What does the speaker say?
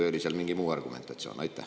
Või oli seal mingi muu argumentatsioon?